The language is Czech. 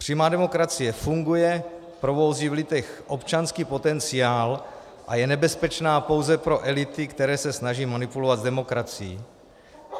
Přímá demokracie funguje, probouzí v lidech občanský potenciál a je nebezpečná pouze pro elity, které se snaží manipulovat s demokracií.